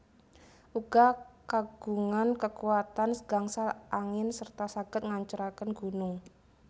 Uga kagungan kekuatan gangsal angin serta saged ngancuraken gunung